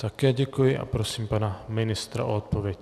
Také děkuji a prosím pana ministra o odpověď.